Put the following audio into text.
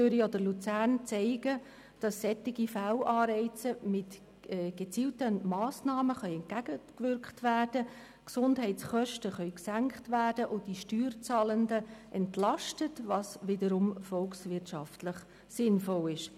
Zürich und Luzern zeigen, dass solchen Fehlanreizen mit gezielten Massnahmen entgegengewirkt werden kann, die Gesundheitskosten gesenkt und die Steuerzahlenden entlastet werden können, was wiederum volkswirtschaftlich sinnvoll ist.